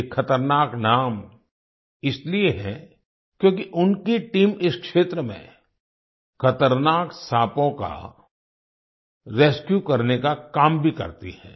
ये ख़तरनाक नाम इसलिए है क्योंकि उनकी टीम इस क्षेत्र में खतरनाक साँपों का रेस्क्यू करने का काम भी करती है